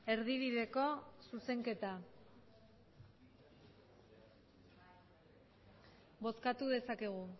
erdibideko zuzenketa bozkatu dezakegu